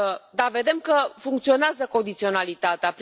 Da, vedem că funcționează condiționalitatea.